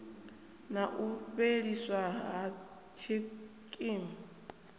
na u fheliswa ha tshikimu